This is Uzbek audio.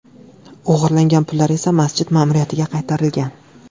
O‘g‘irlangan pullar esa masjid ma’muriyatiga qaytarilgan.